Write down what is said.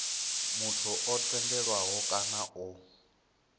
muthu o tendelwaho kana o